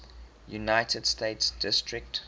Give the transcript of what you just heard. united states district